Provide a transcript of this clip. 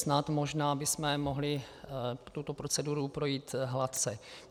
Snad možná bychom mohli tuto proceduru projít hladce.